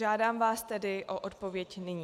Žádám vás tedy o odpověď nyní.